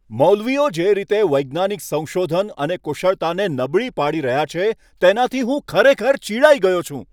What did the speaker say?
મૌલવીઓ જે રીતે વૈજ્ઞાનિક સંશોધન અને કુશળતાને નબળી પાડી રહ્યા છે, તેનાથી હું ખરેખર ચિડાઈ ગયો છું.